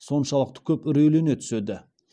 соншалықты көп үрейлене түседі